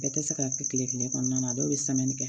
Bɛɛ tɛ se ka kɛ kile kɔnɔna na dɔw bɛ kɛ